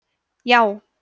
já